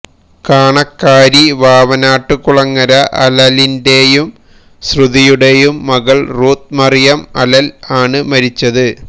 കാണക്കാരി വാവനാട്ടുകുളങ്ങര അലലിന്റെയും ശ്രുതിയുടെയും മകൾ റൂത്ത് മറിയം അലൽ ആണ് മരിച്ചത്